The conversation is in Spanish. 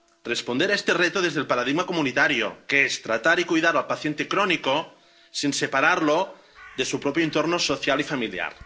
Responder a este reto desde el paradigma comunitario, que es tratar y cuidar al paciente crónico sin separarlo de su propio entorno social y familiar.